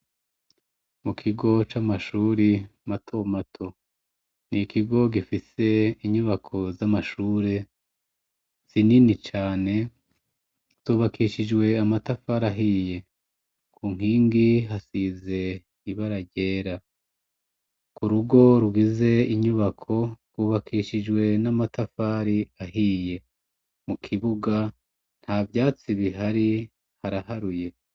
Mukigo c’amashuri mato mato , ikigo gifise inyubako z’amashure, zinini cane, zubakishijwe amatafari ahiye, kunkingi hasize ibara ryera. Kurugo rugize inyubako, rwubakishijwe n’amatafari ahiye, mukibuga, ntavyatsi bihari, haraharuye.